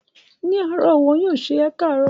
Ní àárọ̀ wọn yóò sọ 'Ẹ káàárọ̀'.